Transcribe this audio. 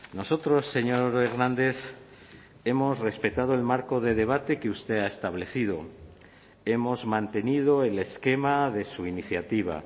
nosotros señor hernández hemos respetado el marco de debate que usted ha establecido hemos mantenido el esquema de su iniciativa